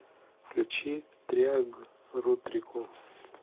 включи триагрутрику